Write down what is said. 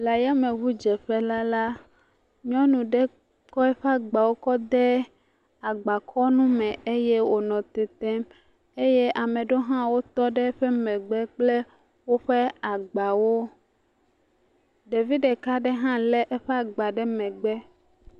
Le ayame ŋudzeƒela la, nyɔnu ɖe kɔ eƒe agba kɔ de agbakɔnu me eye wonɔ tetem. Eye ame ɖewo hã tɔ ɖe eƒe megbe kple woƒe agbawo, ɖevi ɖeka aɖe hã lé eƒe agba ɖe megbe.